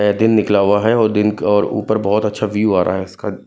अ दिन निकला हुआ है और दिन क और ऊपर बहोत अच्छा व्यू आ रहा है इसका।